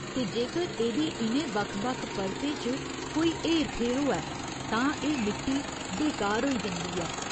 ते जेकर एह्दी इ'नें बक्ख बक्ख परतें च कोई हेर फेर होऐ तां एह् मिट्टी बेकार होई जंदी ऐ।